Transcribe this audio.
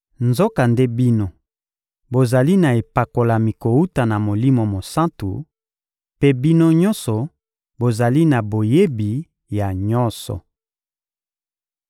Nzokande bino, bozali na epakolami kowuta na Molimo Mosantu, mpe bino nyonso bozali na boyebi ya nyonso.